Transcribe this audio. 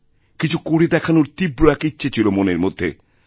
কিছু করে দেখানোর তীব্র এক ইচ্ছে ছিল মনের মধ্যে